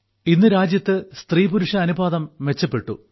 ഇന്ന് രാജ്യത്ത് സ്ത്രീപുരുഷ അനുപാതം മെച്ചപ്പെട്ടു